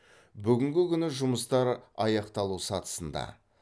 бүгінгі күні жұмыстар аяқталу сатысында